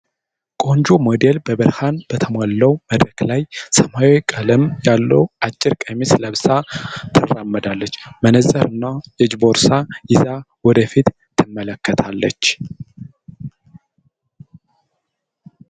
ቆንጆ ሞዴል በብርሃን በተሞላው መድረክ ላይ ሰማያዊ ቀለም ያለው አጭር ቀሚስ ለብሳ ትራመዳለች። መነጽር እና የእጅ ቦርሳ ይዛ ወደፊት ትመለከታለች።